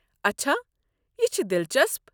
اچھا، یہ چُھ دِلچسپ۔